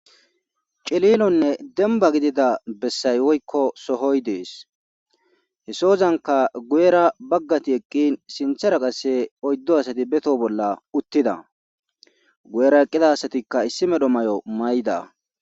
Cililonne demba gidida bessay woykko sohoy dees he sozanka guyera baggati eqqin sinthera qasse oyddo asati beto bolla uttida guyera eqqida asatikka issi medho may7o mayda.